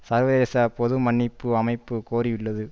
சர்வதேச பொது மன்னிப்பு அமைப்பு கோரியுள்ளது